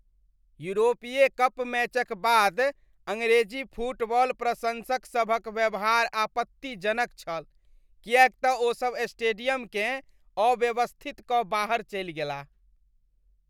यूरोपीय कप मैचक बाद अङरेजी फुटबॉल प्रशंसकसभक व्यवहार आपत्तिजनक छल किएक तँ ओसभ स्टेडियमकेँ अव्यवस्थित कऽ बाहर चलि गेलाह।